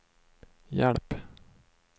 hjälp